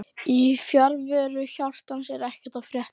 Í fjarveru hjartans er ekkert að frétta